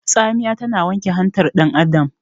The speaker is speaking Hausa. Tsamiya tana wanke hantar dan Adam